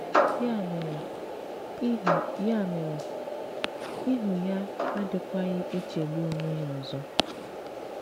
Yà mèrè, “íhù́ Yà mèrè, “íhù́ ya adịkwaghị̀ echegbù onwe ya ọzọ.